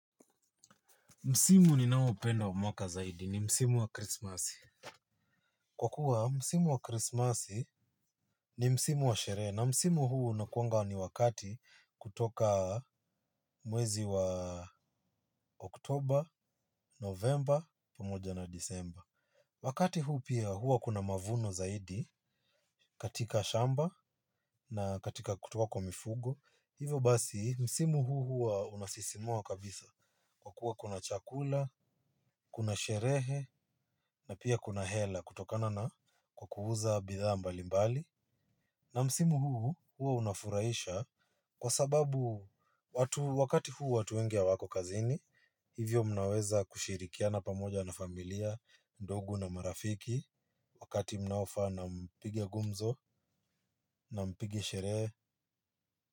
Msimu ninaoupenda wa mwaka zaidi ni msimu wa krismasi kwa kuwa msimu wa krismasi ni msimu wa sherehe na simu huu unakuanga ni wakati kutoka mwezi wa oktoba, novemba pqmoja na disemba. Wakati huu pia huwa kuna mavuno zaidi katika shamba na katika kutoka kwa mifugo hivyo basi. Msimu huu huu unasisimua kabisa kwa kuwa kuna chakula, kuna sherehe. Na pia kuna hela kutokana na kwa kuuza bidhaa mbali mbali. Na msimu huu huwa unafurahisha kwa sababu wakati huu watu wengi hawako kazini. Hivyo mnaweza kushirikiana pamoja na familia, ndugu na marafiki. Wakati mnaofaa na mpige gumzo na mpige sherehe.